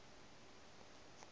ge ba se na le